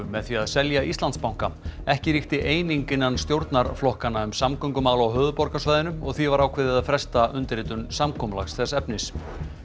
með því að selja Íslandsbanka ekki ríkti eining innan stjórnarflokkanna um samgöngumál á höfuðborgarsvæðinu og því var ákveðið að fresta undirritun samkomulags þess efnis